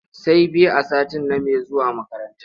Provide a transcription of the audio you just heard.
Say biyu a sati name zuwa makaranta.